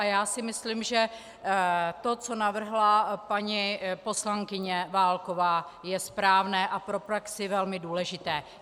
A já si myslím, že to, co navrhla paní poslankyně Válková, je správné a pro praxi velmi důležité.